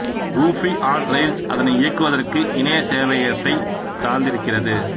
Ruby on Rails அதனை இயக்குவதற்கு இணைய சேவையகத்தை சார்ந்திருக்கிறது